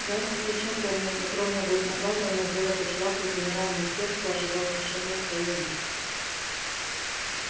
гарри хорошо помнил как ровно год назад он надел эту шляпу и с замиранием сердца ожидал решения своей участи